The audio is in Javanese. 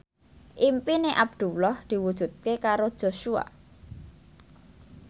impine Abdullah diwujudke karo Joshua